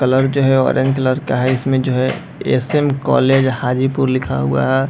Colour जो है orange colour का है इसमें जो है एस.एम. कॉलेज हाजीपुर लिखा हुआ है ।